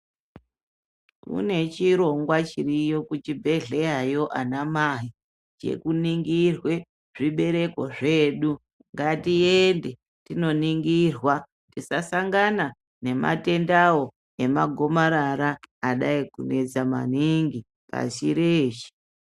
Kune chirongwa chiriyo kuchibhehlerayo ana mai chekuningirwa zvibereko zvedu. Ngatiende tinoningirwa tisasangana nematendawo emagomarara adai kunesa maningi pashi reshe.